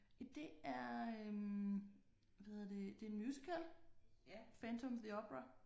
Jamen det er øh hvad hedder det det er en musical Phantom of the Opera